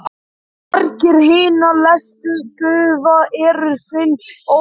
Margir hinna helstu guða eru synir Óðins.